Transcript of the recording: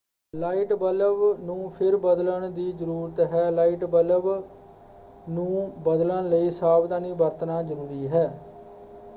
Light bulb ਨੂੰ ਫਿਰ ਬਦਲਣ ਦੀ ਜ਼ਰੂਰਤ ਹੈ। ਲਾਈਟ ਬੱਲਬ ਨੂੰ ਬਦਲਣ ਲਈ ਸਾਵਧਾਨੀ ਵਰਤਣਾ ਜਰੂਰੀ ਹੈ।